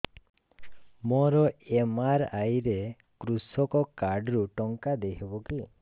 ମୋର ଏମ.ଆର.ଆଇ ରେ କୃଷକ କାର୍ଡ ରୁ ଟଙ୍କା ଦେଇ ହବ କି